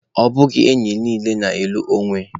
Ọ bụghị enyi niile na-alụ onwe.